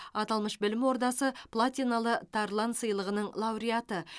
аталмыш білім ордасы платиналы тарлан сыйлығының лауреаты